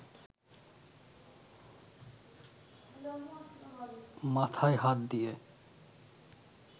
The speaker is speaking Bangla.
মাথায় হাত দিয়ে